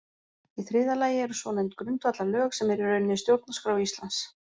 Í þriðja lagi eru svonefnd grundvallarlög sem eru í rauninni stjórnarskrá Íslands.